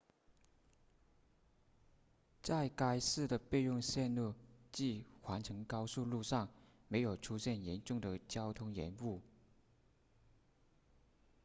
在该市的备用线路即环城高速公路上没有出现严重的交通延误